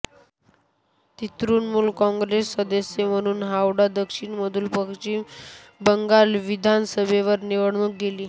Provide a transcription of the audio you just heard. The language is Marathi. ती तृणमूल काँग्रेसच्या सदस्य म्हणून हावडा दक्षिणमधून पश्चिम बंगाल विधानसभेवर निवडून गेली